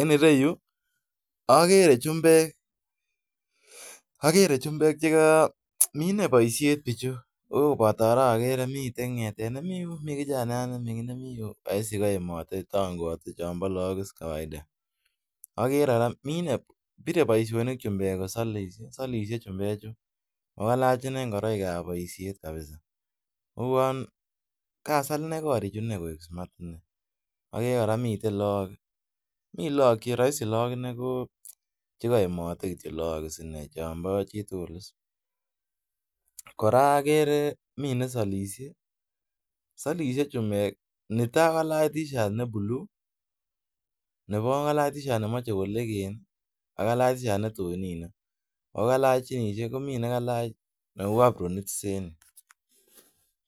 En iroyu akere chumbek akere chumbek mitet boishet bichu miten ngetet nemiten Yun roisi tongoate chon bo Lok kawaita bire boishoni kosolishe chumbek chu ogalach inai ngoroik kap koishet kabisa kagosal korichu koik smart kabisa agere komiten lok chekayemote Lok chombo chitugul kora agere mi nesolishe netai kokalach teashat ne blue nebooeng ko kalach teashat nelegel ko ake ko kalach teashat netui ak ginishek akolach neu apronit